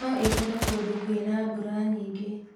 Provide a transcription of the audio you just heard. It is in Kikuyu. No ĩkũre kũndũ kwĩna mbura nyingĩ